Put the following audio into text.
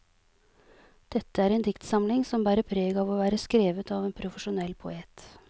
Dette er en dikstsamling som bærer preg av å være skrevet av en profesjonell poet.